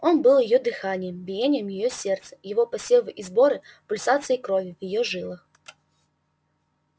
он был её дыханием биением её сердца его посевы и сборы пульсацией крови в её жилах